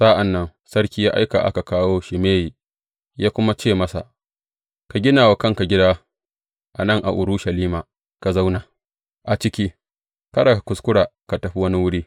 Sa’an nan sarki ya aika aka kawo Shimeyi, ya kuma ce masa, Ka gina wa kanka gida a nan a Urushalima, ka zauna a ciki, kada ka kuskura ka tafi wani wuri.